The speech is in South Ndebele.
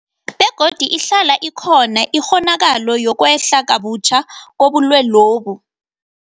Begodu ihlala ikhona ikghonakalo yokwehla kabutjha kobulwelobu.